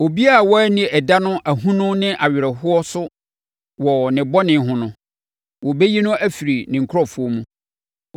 Obiara a wanni ɛda no ahonu ne awerɛhoɔ so wɔ ne bɔne ho no, wɔbɛyi no afiri ne nkurɔfoɔ mu.